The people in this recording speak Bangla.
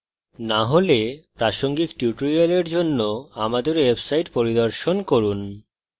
না হলে প্রাসঙ্গিক tutorial জন্য আমাদের website পরিদর্শন করুন